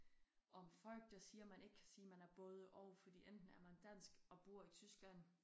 Og folk der siger man ikke kan sige man er både og fordi enten er man dansk og bor i Tyskland